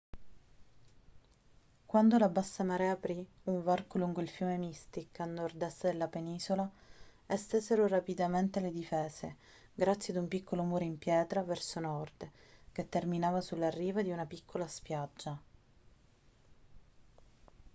quando la bassa marea aprì un varco lungo il fiume mystic a nord-est della penisola estesero rapidamente le difese grazie ad un piccolo muro in pietra verso nord che terminava sulla riva di una piccola spiaggia